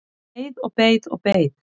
Ég beið og beið og beið!